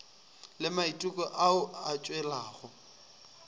le maiteko ao a tšwelago